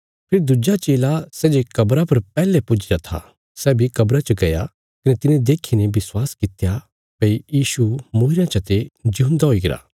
फेरी दुज्जा चेला सै जे कब्रा पर पैहले पुज्जीरा था सै बी कब्रा च गया कने तिने देखीने विश्वास कित्या भई यीशु मूईरयां चते जिऊंदा हुईगरा